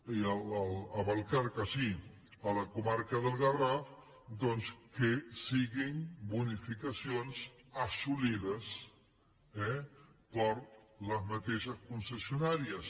a vallcarca sí a la comarca del garraf doncs que siguin bonificacions assolides eh per les mateixes concessionàries